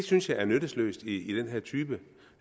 synes jeg er nyttesløst i den her type